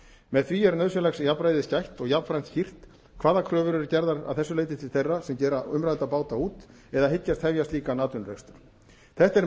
með því er nauðsynlegs jafnræðis gætt og jafnframt skýrt hvaða kröfur eru gerðar að þessu leyti til þeirra sem gera umrædda báta út eða hyggjast hefja slíkan atvinnurekstur þetta er